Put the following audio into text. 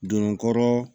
Don kɔrɔ